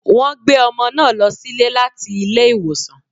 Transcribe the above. Wọ́n gbé ọmọ náà lọ sílé láti ilé ìwòsàn